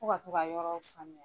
Fo ka to ka yɔrɔw sanuya.